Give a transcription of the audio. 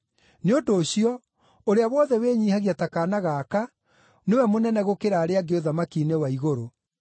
Nĩ ũndũ ũcio, ũrĩa wothe wĩnyiihagia ta kaana gaka nĩwe mũnene gũkĩra arĩa angĩ ũthamaki-inĩ wa igũrũ.